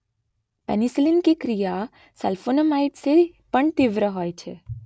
penicillin કી ક્રિયા sulphonamide સે પણ તીવ્ર હોય છે